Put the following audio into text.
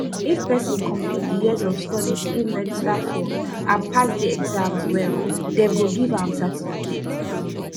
if person complete di years of studies im register for and pass di exams well dem go give am certificate